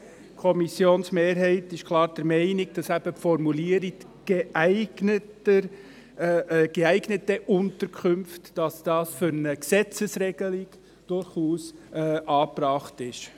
Die Kommissionsmehrheit ist klar der Meinung, dass die Formulierung «geeignete Unterkünfte» für eine Gesetzesregelung durchaus angebracht ist.